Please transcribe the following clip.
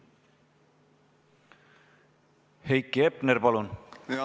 Heiki Hepner, palun!